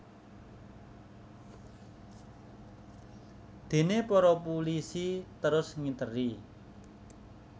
Déné para pulisi terus ngiteri